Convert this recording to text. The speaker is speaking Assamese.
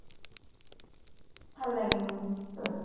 ভাল লাগে মোৰ